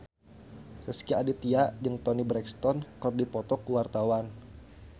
Rezky Aditya jeung Toni Brexton keur dipoto ku wartawan